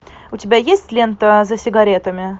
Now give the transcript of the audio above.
у тебя есть лента за сигаретами